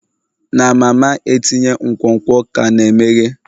Na mama etinye nkwonkwo ka na-emeghe?